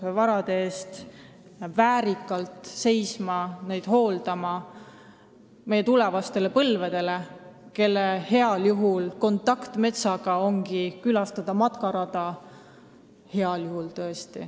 Me peame neid varasid hooldama meie tulevaste põlvede tarbeks, kelle kontakt metsaga on heal juhul see, kui nad käivad matkarajal.